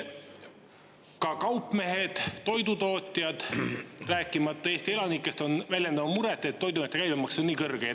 Ka kaupmehed, toidutootjad, rääkimata Eesti elanikest, on väljendanud muret, et toiduainete käibemaks on nii kõrge.